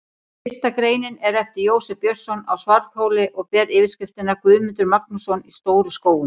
Fyrsta greinin er eftir Jósef Björnsson á Svarfhóli og ber yfirskriftina: Guðmundur Magnússon í Stóru-Skógum.